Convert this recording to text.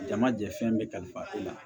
Jama jɛ fɛn bɛɛ kalifa e la